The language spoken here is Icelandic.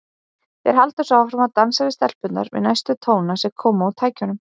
Þeir halda svo áfram að dansa við stelpurnar við næstu tóna sem koma úr tækjunum.